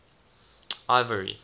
ivory